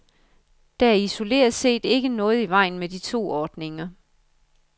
Der er isoleret set ikke noget i vejen med to ordninger.